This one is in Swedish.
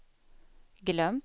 glömt